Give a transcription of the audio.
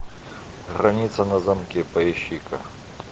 граница на замке поищи ка